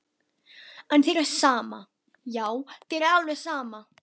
En þér er sama, já þér er alveg sama!